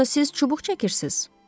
Yoxsa siz çubuq çəkirsiz?